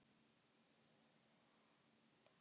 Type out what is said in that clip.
Telurðu þig geta náð meiru út úr hópnum en fyrri þjálfari?